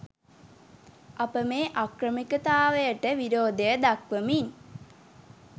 අප මේ අක්‍රමිකතාවයට විරෝධය දක්‌වමින්